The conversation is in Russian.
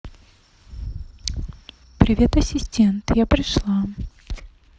привет ассистент я пришла